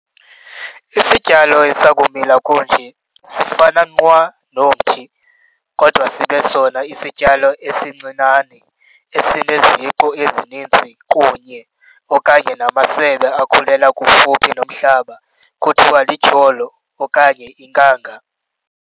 Isityalo esikumila kunje sifana nqwa nomthi, kodwa sibe sona isisityalo esincinane, esineziqu ezininzi kunye - okanye namasebe akhulela kufuphi nomhlaba, kuthiwa lityholo, okanye inkanga.